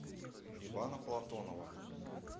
ивана платонова